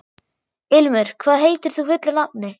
Ilmur, hvað heitir þú fullu nafni?